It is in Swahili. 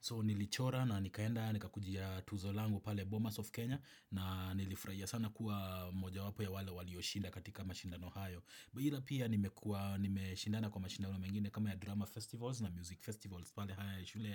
So nilichora na nikaenda nikakujia tuzo langu pale Bomas of Kenya na nilifurahia sana kuwa mojawapo ya wale walioshinda katika mashindano hayo. Ila pia nimekua nimeshindana kwa mashindano mengine kama ya drama festivals na music festivals pale haya ya shule